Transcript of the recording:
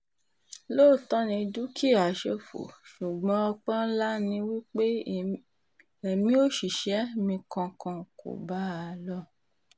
lóòótọ́ ni dúkìá ṣòfò ṣùgbọ́n ọpẹ́ ńlá ni wí pé èmi òṣìṣẹ́ mi kankan kò bá a lọ